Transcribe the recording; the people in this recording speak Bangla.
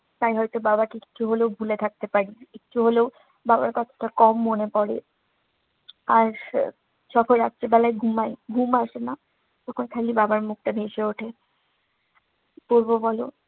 তাই হয়তো বাবাকে একটু হলেও ভুলে থাকতে পারি, একটু হলেও বাবার কথাটা কম মনে পড়ে। আর যখন রাত্রেবেলায় ঘুমাই, ঘুম আসে না। তখন খালি বাবার মুখটা ভেসে উঠে। কি করবো বলো?